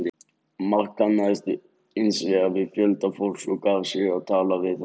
Mark kannaðist hins vegar við fjölda fólks og gaf sig á tal við það.